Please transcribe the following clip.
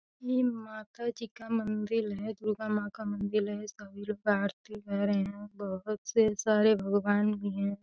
यह माता जी का मंदिर है। दुर्गा माँ का मंदिर है इसमें आरती कर रहे हैं आ और बहोत से सारे भगवान भी हैं।